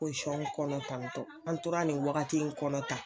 kɔnɔ tantɔn an tora ni wagati kɔnɔ tan